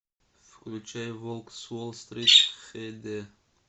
включай волк с уолл стрит хэ дэ